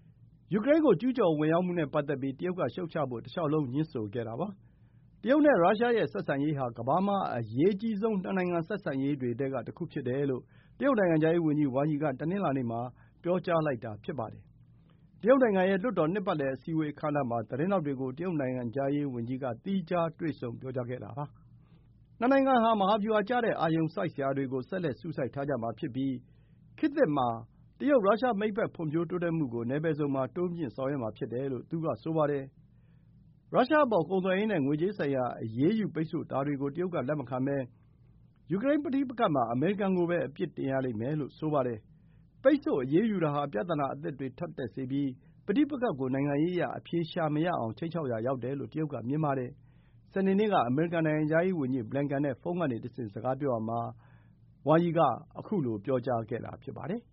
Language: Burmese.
။ ယူကရိန်းကို ကျူးကျော်ဝင်ရောက်မှုနဲ့ပတ်သက်ပြီး တရုတ်ကရှုတ်ချဖို့ တလျှောက်လုံးငြင်းဆိုခဲ့တာပါ။ တရုတ်နဲ့ရုရှးရဲ့ဆက်ဆံရေးဟာ ကမ္ဘာမှာ အရေးကြီးဆုံး နှစ်နိုင်ငံဆက်ဆံရေးတွေ ထဲက တခုဖြစ်တယ်လို့ တရုတ် နိုင်ငံခြားရေးဝန်ကြီးဝမ်ယီက တနင်္လာနေ့မှာ ပြောကြားလိုက်တာ ဖြစ်ပါတယ်။ တရုတ်နိုင်ငံရဲ့လွှတ်တော်နှစ်ပတ်လည် အစည်းအဝေး အခမ်းအနားမှာ သတင်းထောက်တွေကို တရုတ်နိုင်ငံခြားရေးဝန်ကြီးက သီးခြား တွေ့ဆုံ ပြောကြားခဲ့တာ ဖြစ်ပါတယ်။ နှစ်နိုင်ငံဟာ မဟာဗျူဟာကျတဲ့ အာရုံစိုက်စရာတွေကို ဆက်လက် စူးစိုက်ထားကြမှာ ဖြစ်ပြီး ခေတ်သစ် တရုတ်-ရုရှား မိတ်ဘက် ဖွံ့ဖြိုးတိုးတက်မှုကို နယ်ပယ်စုံမှာ တိုးမြှင့် ဆောင်ရွက်မှာဖြစ်တယ်လို့ သူက ဆိုပါတယ်။ ရုရှားအပေါ် ကုန်သွယ်ရေးနဲ့ ငွေကြေးဆိုင်ရာ အရေးယူပိတ်ဆို့တာတွေကို တရုတ် က လက်မခံဘဲ ယူကရိန်းပဋိပက္ခမှာ အမေရိကန်ကိုပဲ အပြစ်တင်ရမယ်လို့ ဆိုပါတယ်။ ပိတ်ဆို့အရေးယူတာဟာ ပြဿနာအသစ်တွေ ထပ်တက်စေပြီး ပဋိပက္ခကို နိုင်ငံရေးအရ အဖြေရှာမရအောင် ခြိမ်းခြောက်ရာရောက်တယ်လို့ တရုတ်က မြင်ပါတယ်။ စနေနေ့က အမေရိကန် နိုင်ငံခြားရေးဝန်ကြီး ဘလင်ကန်နဲ့ ဖုန်းကနေတဆင့် စကားပြောကြရာမှာ ခုလို ပြောကြားခဲ့တာ ဖြစ်ပါတယ်။